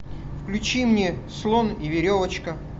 включи мне слон и веревочка